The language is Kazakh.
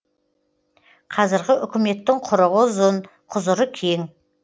қазіргі үкіметтің құрығы ұзын құзыры кең